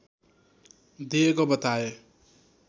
दिएको बताए